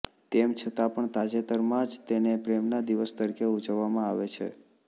તેમ છતાં પણ તાજેતરમાં જ તેને પ્રેમના દિવસ તરીકે ઉજવવામાં આવે છે